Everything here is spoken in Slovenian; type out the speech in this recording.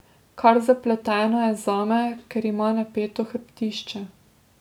Kar zapletena je zame, ker ima napeto hrbtišče.